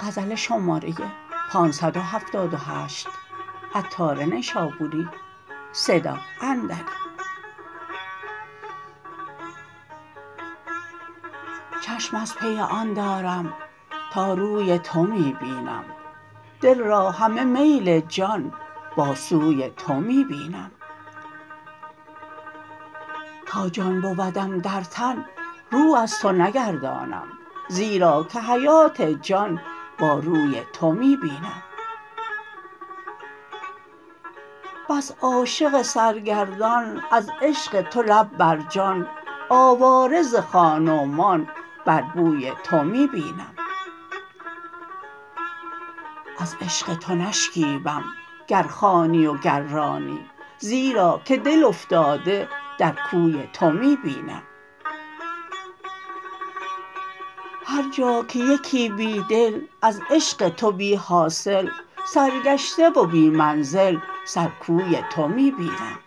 چشم از پی آن دارم تا روی تو می بینم دل را همه میل جان با سوی تو می بینم تا جان بودم در تن رو از تو نگردانم زیرا که حیات جان باروی تو می بینم بس عاشق سرگردان از عشق تو لب برجان آواره ز خان و مان بر بوی تو می بینم از عشق تو نشکیبم گر خوانی و گر رانی زیرا که دل افتاده در کوی تو می بینم هر جا که یکی بیدل از عشق تو بی حاصل سرگشته و بی منزل سر کوی تو می بینم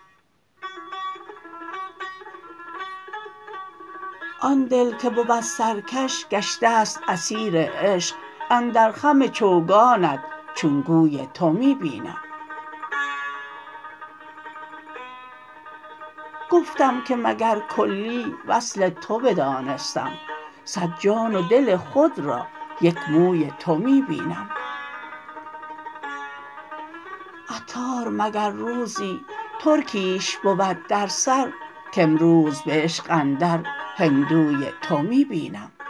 آن دل که بود سرکش گشته است اسیر عشق اندر خم چوگانت چون گوی تو می بینم گفتم که مگر کلی وصل تو بدانستم صد جان و دل خود را یک موی تو می بینم عطار مگر روزی ترکیش بود درسر کامروز به عشق اندر هندوی تو می بینم